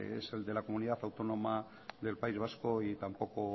es el de la comunidad autónoma del país vasco y tampoco